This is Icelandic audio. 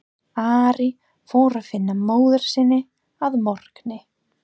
Ari fór að finna móður sína að morgni.